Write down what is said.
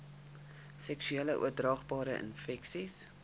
seksueel oordraagbare infeksies